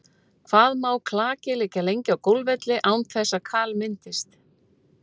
Hvað má klaki liggja lengi á golfvelli án þess að kal myndist?